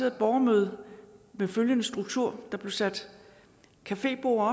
et borgermøde med følgende struktur der blev sat caféborde